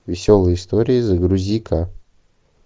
веселые истории загрузи ка